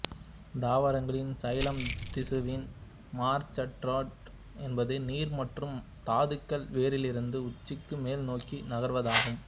தாவரங்களின் சைலம் திசுவில் மரச்சாறேற்றம் என்பது நீர் மற்றும் தாதுக்கள் வேரிலிருந்து உச்சிக்கு மேல் நோக்கி நகர்வதாகும்